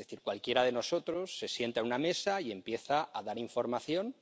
Es decir, cualquiera de nosotros se sienta a una mesa y empieza a dar información